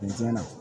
Nin tiɲɛna